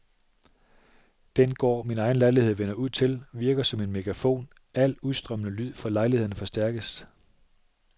Den gård, min egen lejlighed vender ud til, virker som en megafon, al udstrømmende lyd fra lejlighederne forstærkes.